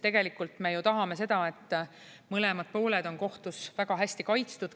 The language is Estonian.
Tegelikult me ju tahame seda, et mõlemad pooled on kohtus väga hästi kaitstud.